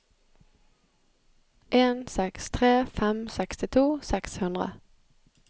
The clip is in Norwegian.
en seks tre fem sekstito seks hundre